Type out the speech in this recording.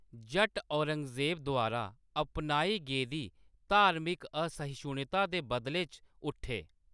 जट्ट औरंगजेब द्वारा अपनाई गेदी धार्मिक असहिष्णुता दे बदले च उट्ठे।